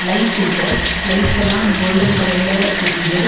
Lights இருக்கு லைட்ஸெல்லா golden கலர்ல எரியிது.